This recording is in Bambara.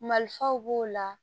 Malifaw b'o la